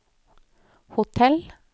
hotell